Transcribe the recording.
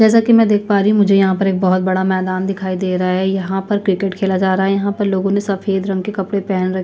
जैसा की में देख पा रही हूँ मुझे एक बहोत बड़ा मैदान दिखाई दे रहा है यहाँ पर क्रिकेट खेला जा रहा है यहाँ पे लोगो ने सफ़ेद रंग कपडे पेहन रखे है।